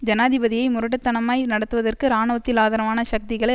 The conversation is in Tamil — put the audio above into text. ஜனாதிபதியை முரட்டுத்தனமாய் நடத்துவதற்கு இராணுவத்தில் ஆதரவான சக்திகளை